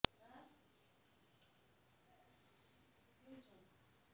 হোঁ লৈ যা ঘৰত লুকুৱাই ৰাখিবি এইখন দেখিলে পিঠি ফালি দিব